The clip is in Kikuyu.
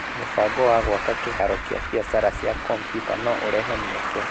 Mũbango wa gwaka kĩharo kĩa biacara cia kompiuta no ũrehe mĩeke.